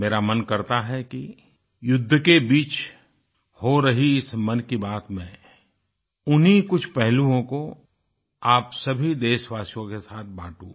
मेरा मन करता है कि युद्ध के बीच हो रही इस मन की बात में उन्हीं कुछ पहलुओं को आप सभी देशवासियों के साथ बाटूँ